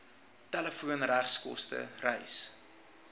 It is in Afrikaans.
telefoon regskoste reis